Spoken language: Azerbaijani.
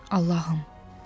Allahım!